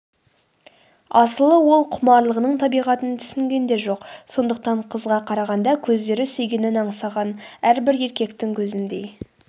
асылы ол құмарлығының табиғатын түсінген де жоқ сондықтан қызға қарағанда көздері сүйгенін аңсаған әрбір еркектің көзіндей